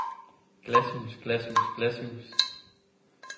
glashus glashus glashus